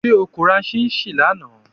Ṣe o ko ra chinchin lana?